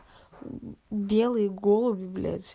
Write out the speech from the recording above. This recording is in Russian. белые голуби блять